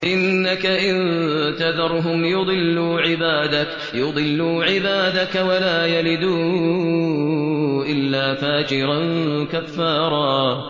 إِنَّكَ إِن تَذَرْهُمْ يُضِلُّوا عِبَادَكَ وَلَا يَلِدُوا إِلَّا فَاجِرًا كَفَّارًا